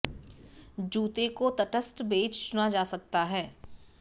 जूते को तटस्थ बेज चुना जा सकता है